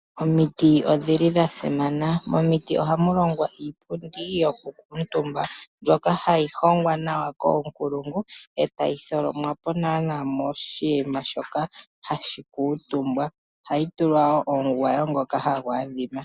Omiti odhili dhasimana momiti ohamulongwa iipundi yoku kutumba mbyoka hayi hongwa nawa koonkulungu e ta yi tholomwa po nawa moshinima shoka hashi kutumbwa ohayi tulwa woo omugwayo ngoka hagu yadhima.